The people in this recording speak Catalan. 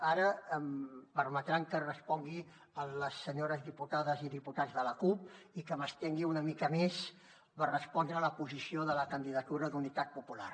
ara em permetran que respongui a les senyores diputades i diputats de la cup i que m’estengui una mica més per respondre la posició de la candidatura d’unitat popular